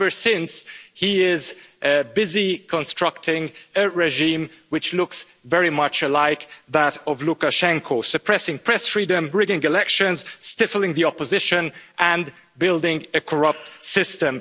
Ever since, he has been busy constructing a regime which looks very much like that of Lukashenko's suppressing press freedom, rigging elections, stifling the opposition and building a corrupt system.